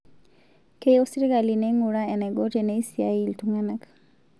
Keyieu sirkali neing'uraa enaiko teneisiai iltung'ana